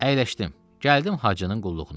Əyləşdim, gəldim Hacının qulluğuna.